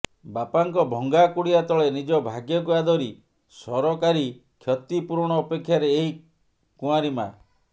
ବାପାଙ୍କ ଭଙ୍ଗା କୁଡିଆ ତଳେ ନିଜ ଭାଗ୍ୟକୁ ଆଦରି ସରକାରୀ କ୍ଷତି ପୂରଣ ଅପେକ୍ଷାରେ ଏହି କୁଆଁରୀ ମାଆ